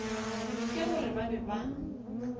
ke gore ba be ba